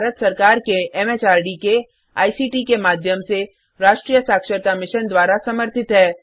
यह भारत सरकार के एमएचआरडी के आईसीटी के माध्यम से राष्ट्रीय साक्षरता मिशन द्वारा समर्थित है